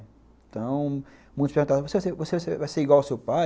Então, muitos perguntavam, você você você vai ser igual ao seu pai?